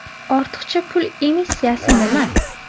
Ortiqcha pul emissiyasi nima?